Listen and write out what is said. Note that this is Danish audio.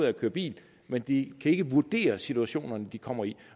at køre bil men de kan ikke vurdere situationerne de kommer i